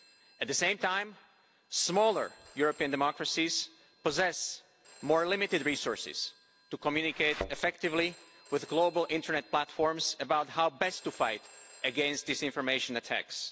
At the same time, smaller European democracies possess more limited resources to communicate effectively with global internet platforms about how best to fight against disinformation attacks.